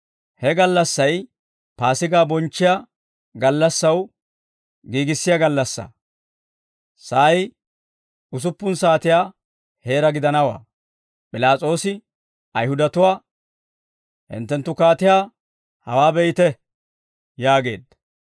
He gallassay Paasigaa bonchchiyaa gallassaw giigissiyaa gallassaa; sa'ay usuppun saatiyaa heera gidanawaa. P'ilaas'oosi Ayihudatuwaa, «Hinttenttu kaatiyaa hawaa be'ite!» yaageedda.